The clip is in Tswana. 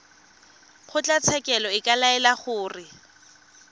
kgotlatshekelo e ka laela gore